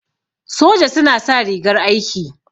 Soja suna sa rigar aiki.